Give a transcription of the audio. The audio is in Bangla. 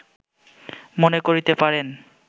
মনে করিতে পারেন